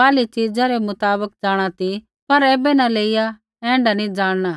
बाहरली च़ीजा रै मुताबक जाँणा ती पर ऐबै न लेईया ऐण्ढा नी जाँणना